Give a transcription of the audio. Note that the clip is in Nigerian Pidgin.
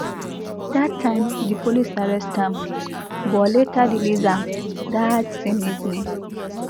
dat time di police arrest am but later release am dat same evening